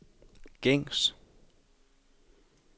gængs